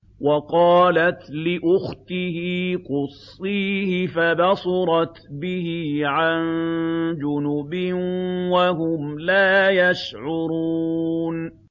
وَقَالَتْ لِأُخْتِهِ قُصِّيهِ ۖ فَبَصُرَتْ بِهِ عَن جُنُبٍ وَهُمْ لَا يَشْعُرُونَ